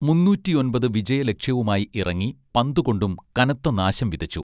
മൂന്നൂറ്റിയൊൻപത് വിജയ ലക്ഷ്യവുമായി ഇറങ്ങി പന്തു കൊണ്ടും കനത്ത നാശം വിതച്ചു